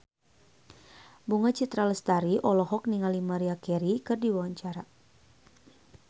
Bunga Citra Lestari olohok ningali Maria Carey keur diwawancara